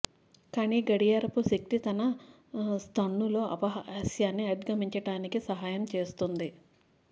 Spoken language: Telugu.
కానీ గడియారపు శక్తి తన స్టన్నూలో అపహాస్యాన్ని అధిగమించటానికి సహాయం చేస్తుంది